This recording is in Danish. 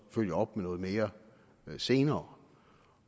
følge op med noget mere senere